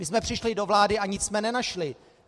My jsme přišli do vlády a nic jsme nenašli.